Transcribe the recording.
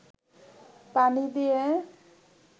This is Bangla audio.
পানি দিয়ে